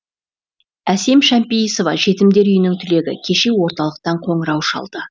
әсем шампейісова жетімдер үйінің түлегі кеше орталықтан қоңырау шалды